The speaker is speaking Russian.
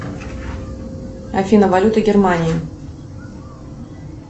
афина валюта германии